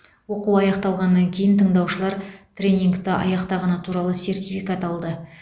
оқу аяқталғаннан кейін тыңдаушылар тренингті аяқтағаны туралы сертификат алды